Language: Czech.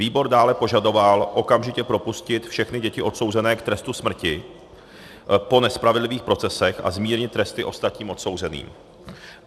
Výbor dále požadoval okamžitě propustit všechny děti odsouzené k trestu smrti po nespravedlivých procesech a zmírnit tresty ostatním odsouzeným.